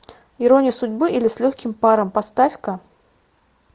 ирония судьбы или с легким паром поставь ка